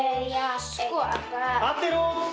sko allir